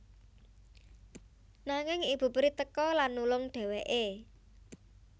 Nanging ibu peri teka lan nulung dhéwéké